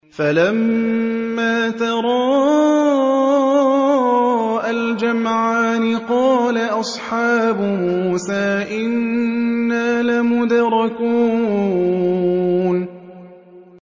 فَلَمَّا تَرَاءَى الْجَمْعَانِ قَالَ أَصْحَابُ مُوسَىٰ إِنَّا لَمُدْرَكُونَ